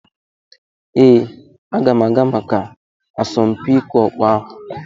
Ee, aga m aga maka asọmpi ịkụ ọkpọ ahụ.